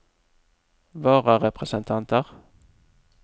vararepresentanter